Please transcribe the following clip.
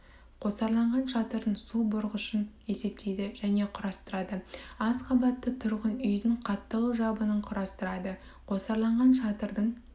қосарланған шатырдың су бұрғышын есептейді және құрастырады аз қабатты тұрғын үйдің қаттаулы жабынын құрастырады қосарланған шатырдың